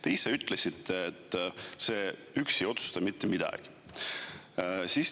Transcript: Te ise ütlesite, et see üksi ei otsusta mitte midagi.